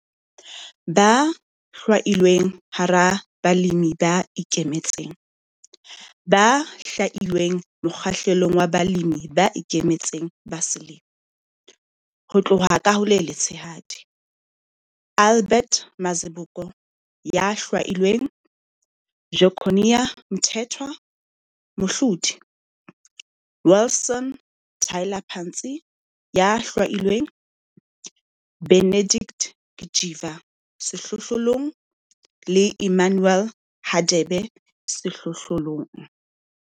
Ba hlwailweng hara balemi ba ikemetseng- Ba hlwailweng mokgahlelong wa Balemi ba Ikemetseng ba Selemo, ho tloha ka ho le letshehadi- Albert Mazibuko, ya hlwailweng, Joconia Mthethwa, mohlodi, Wilson Tyelaphantsi, ya hlwailweng, Benedict Gxiva, sehlohlolong, le Emmanuel Hadebe, sehlohlolong.